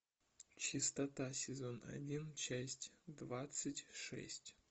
чистота сезон один часть двадцать шесть